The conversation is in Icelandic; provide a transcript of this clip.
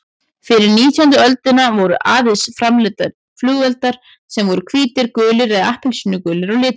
Fyrir nítjándu öldina voru aðeins framleiddir flugeldar sem voru hvítir, gulir eða appelsínugulir á litinn.